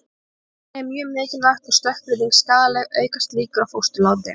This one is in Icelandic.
Ef genið er mjög mikilvægt og stökkbreytingin skaðleg, aukast líkur á fósturláti.